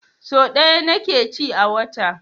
Sau ɗaya ni ke ci a wata